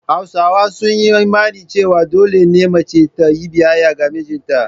Hausawa sun yi imanin cewa dole ne mace ta yi biyayya ga mijinta.